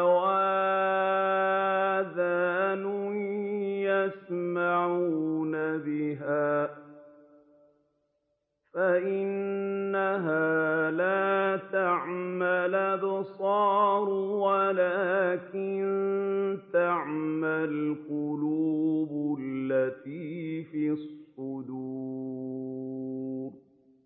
أَوْ آذَانٌ يَسْمَعُونَ بِهَا ۖ فَإِنَّهَا لَا تَعْمَى الْأَبْصَارُ وَلَٰكِن تَعْمَى الْقُلُوبُ الَّتِي فِي الصُّدُورِ